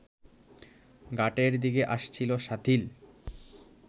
ঘাটের দিকে আসছিল শাথিল